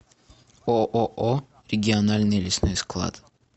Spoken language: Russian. ооо региональный лесной склад